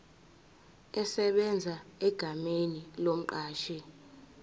esebenza egameni lomqashi